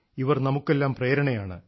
ഇവർ നമുക്കെല്ലാം പ്രേരണയാണ്